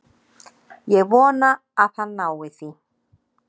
Ég vona að hann nái því.